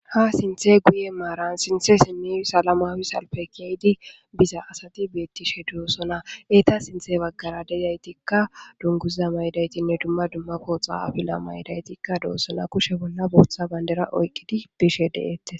Ha sinthe guye maaran sinthe simmi salama wisalpe keydi biza asati beettishe doossona eta sinthe baggara dezaytikka dunguziza maydaytinne dumma dummako xaafila maydaytikka doosona kushe bolla booththa bandera oyqqidi bishe de'eette.